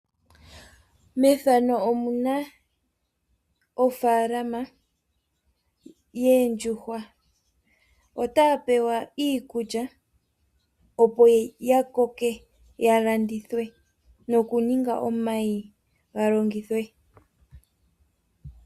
Mofalama yoondjuhwa ohadhi pewa iikulya opo dhi koke dhi landithwe noku ninga omayi ga longithwe.